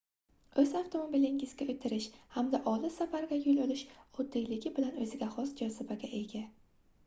oʻz avtomobilingizga oʻtirish hamda olis safarga yoʻl olish oddiyligi bilan oʻziga xos jozibaga ega